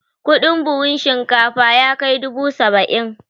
Kudin buhun shinkafa yakai dubu saba'in